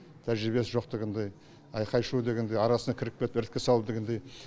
тәжірибесі жоқ дегендей айқай шу дегендей арасына кіріп кетіп іріткі салу дегендей